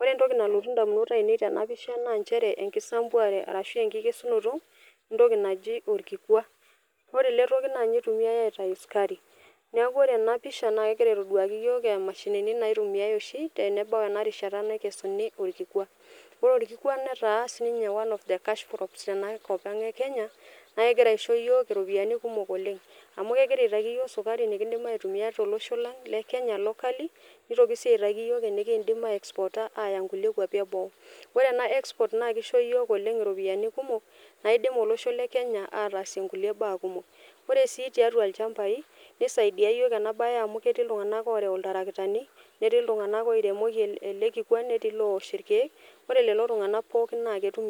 ore entoki nalotu indamunot ainei tena pisha naa nchere enkisambuare arashu enkikesunoto entoki naji orkikua ore ele toki naa ninye itumiae aitau sukari niaku ore ena pisha naa kegira aitoduaki iyiok emashinini naitumiae oshi tenebau ena rishata naikesuni orkikwa ore orkikwa netaa sininye one of the cash crops tenakop ang e kenya naa kegira aisho iyiok iropiyiani kumok oleng amu kegira aitaki iyiok sukari nikindim aitumia tolosho lang le kenya locally nitoki sii aitaki iyiok enikindim ae ekspota aya nkulie kuapi eboo ore ena export naa kisho yiok oleng iropiyiani kumok naidim olosho le kenya atasie nkulie baa kumok ore sii tiatua ilchambai nisaidia iyiok ena baye amu ketii iltung'anak orew iltarakitani netii iltung'anak oiremoki ele kikwa netii ilowosh irkeek ore lelo tung'anak pookin naa ketum